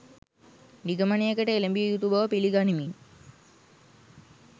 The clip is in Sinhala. නිගමනයකට එළඹිය යුතු බව පිළිගනිමින්